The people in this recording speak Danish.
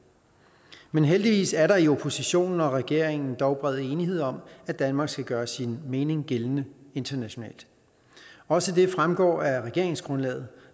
men heldigvis er der i oppositionen og regeringen dog bred enighed om at danmark skal gøre sin mening gældende internationalt også det fremgår af regeringsgrundlaget